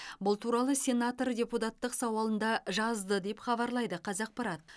бұл туралы сенатор депутаттық сауалында жазды деп хабарлайды қазақпарат